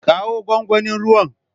Kawo gwangwanin ruwan.